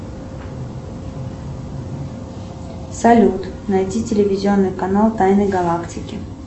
салют найти телевизионный канал тайны галактики